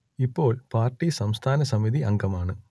ഇപ്പോൾ പാർട്ടി സംസ്ഥാന സമിതി അംഗമാണ്